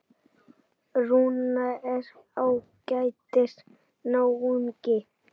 Rúnar er ágætis náungi.